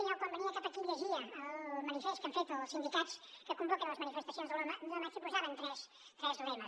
jo quan venia cap aquí llegia el manifest que han fet els sindicats que convoquen les manifestacions de l’un de maig i hi posaven tres lemes